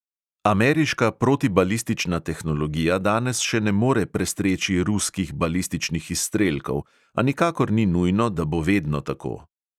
Ameriška protibalistična tehnologija danes še ne more prestreči ruskih balističnih izstrelkov, a nikakor ni nujno, da bo vedno tako.